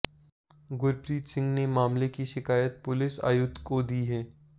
गुरप्रीत सिंह ने मामले की शिकायत पुलिस आयुक्त को दी है